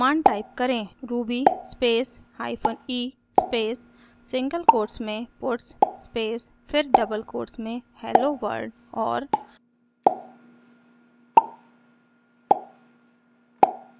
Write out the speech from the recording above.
command type करेंruby space hyphen e space single quotes में puts space फिर double quotes में hello world और